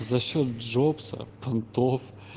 за счёт джобса понтов